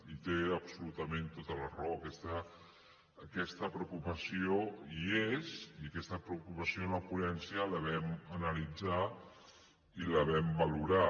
i té absolutament tota la raó aquesta preocupació hi és i aquesta preocupació en la ponència la vam analitzar i la vam valorar